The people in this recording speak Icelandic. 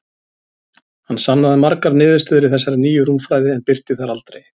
Hann sannaði margar niðurstöður í þessari nýju rúmfræði, en birti þær aldrei.